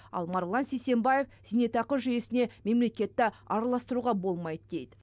ал марғұлан сейсембаев зейнетақы жүйесіне мемлекетті араластыруға болмайды дейді